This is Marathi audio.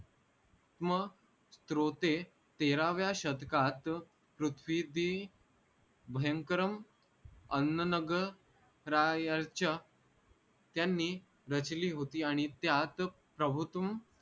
म स्रोते तेराव्या शतकात पृथ्वीदी भयंकरं अन्ननग रायच त्यांनी रचली होती आणि त्यात प्रभू तुम